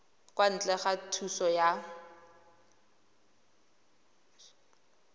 kwa ntle ga thuso ya